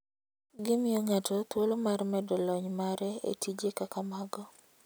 Gimiyo ng'ato thuolo mar medo lony mare e tije kaka mago.